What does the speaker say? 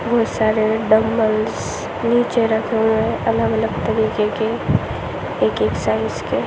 बोहोत सारे डंबल्स नीचे रखे हुए है अलग-अलग तरीके के एक-एक साइज़ के।